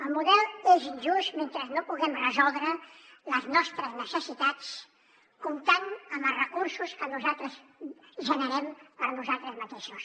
el model és injust mentre no puguem resoldre les nostres necessitats comptant amb els recursos que nosaltres generem per nosaltres mateixos